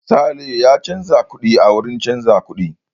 Sale ya canza kuɗi a wurin canza kuɗi.